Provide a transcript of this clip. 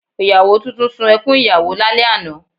Ìyàwó tuntun sun ẹkún ìyàwó lálẹ́ àná